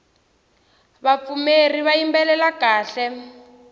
vapfumeri va yimbelela kahle